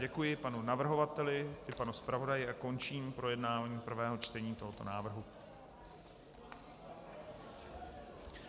Děkuji panu navrhovateli i panu zpravodaji a končím projednávání prvého čtení tohoto návrhu.